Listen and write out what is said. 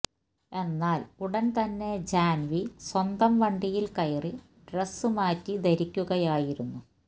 എന്നാൽ ഉടൻ തന്നെ ജാൻവി സ്വന്തം വണ്ടിയിൽ കയറി ഡ്രസ് മാറ്റി ധരിക്കുകയായിരുന്നു